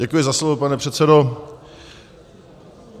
Děkuji za slovo, pane předsedo.